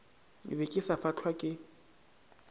be ke sa fahlwa ke